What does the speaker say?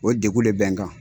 O degun de bɛ n kan.